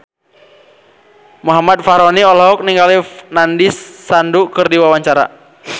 Muhammad Fachroni olohok ningali Nandish Sandhu keur diwawancara